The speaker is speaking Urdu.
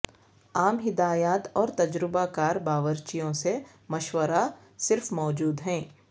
عام ہدایات اور تجربہ کار باورچیوں سے مشورہ صرف موجود ہیں